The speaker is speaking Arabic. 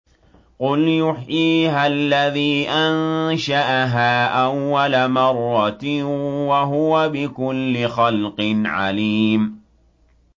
قُلْ يُحْيِيهَا الَّذِي أَنشَأَهَا أَوَّلَ مَرَّةٍ ۖ وَهُوَ بِكُلِّ خَلْقٍ عَلِيمٌ